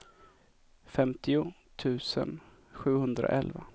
femtio tusen sjuhundraelva